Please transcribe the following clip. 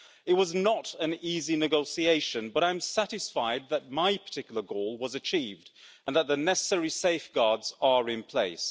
It was not an easy negotiation, but I'm satisfied that my particular goal was achieved and that the necessary safeguards are in place.